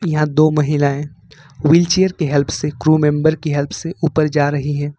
यहां दो महिलाएं व्हीलचेयर की हेल्प से क्रू मेमबर की हेल्प से ऊपर जा रही हैं।